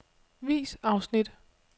Vis afsnit.